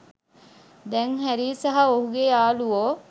දැන් හැරී සහ ඔහුගේ යාළුවෝ